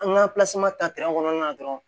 An ka ta kɔnɔna na dɔrɔn